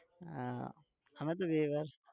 હા અમે તો